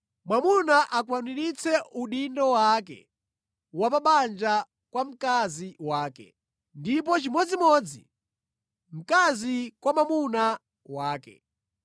Mwamuna akwaniritse udindo wake wa pa banja kwa mkazi wake, ndipo chimodzimodzi mkazi kwa mwamuna wake.